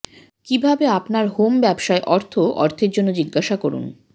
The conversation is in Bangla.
কিভাবে আপনার হোম ব্যবসায় অর্থ অর্থের জন্য জিজ্ঞাসা করুন